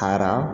Taara